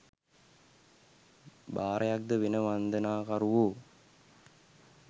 භාරයක්ද වෙන වන්දනාකරුවෝ